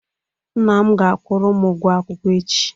Nna m ga akwụrụ m ụgwo akwụkwo echi